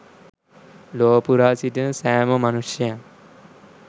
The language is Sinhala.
ලොව පුරා සිටින සෑම මනුෂ්‍යයන්